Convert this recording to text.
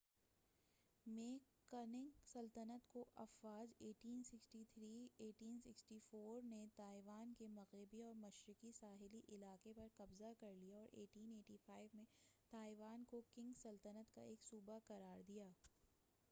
1683میں Qing سلطنت کی افواج 1644-1912 نے تائیوان کے مغربی اور مشرقی ساحلی علاقے پر قبضہ کر لیا اور 1885 میں تائیوان کو قنگ سلطنت کا ایک صوبہ قرار دیا۔